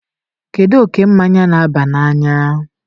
kedu oke mmanya na-aba n'anya?